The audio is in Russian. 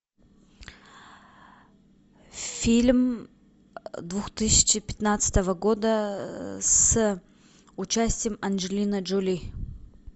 фильм двух тысячи пятнадцатого года с участием анджелины джоли